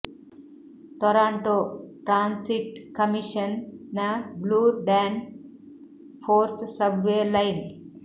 Toronto transit commission ನ Bloor Danforth subway line